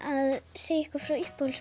segja ykkur frá